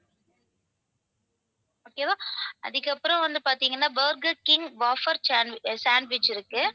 okay வா அதுக்கப்புறம் வந்து பாத்தீங்கன்னா burger king wafer sand~ sandwich இருக்கு